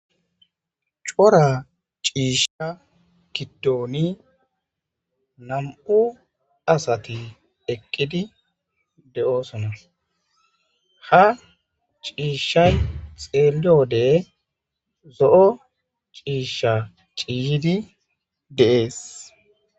"Cora ciisha giddon nam'u asati eqqidi de'osona, Ha ciishay xeeliyode zo'o ciisha ciiyidi de'ees."